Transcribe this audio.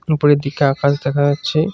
উপরের দিকে আকাশ দেখা যাচ্ছে।